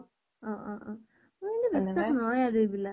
অ অ অ । মই কিন্তু বিশ্বাস নহয় এইবিলাক ।